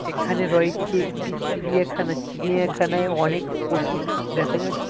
এখানে রয়েছে একটি চিড়িয়াখানা চিড়িয়াখানায় অনেক পশু দেখা যা --